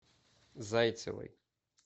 зайцевой